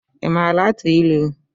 Ị maara atụ ịlụ?